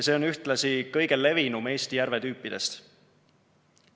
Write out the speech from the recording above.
See on ühtlasi kõige levinum Eesti järvetüüpidest.